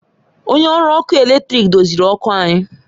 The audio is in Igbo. Onye ọrụ ọkụ eletrik doziri ọkụ anyị